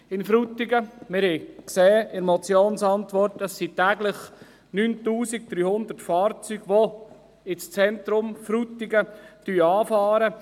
Wir haben in der Motionsantwort gesehen, dass täglich 9300 Fahrzeuge ins Zentrum von Frutigen fahren.